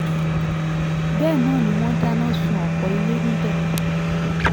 bẹ́ẹ̀ náà ni wọ́n dáná sun ọ̀pọ̀ ilé níbẹ̀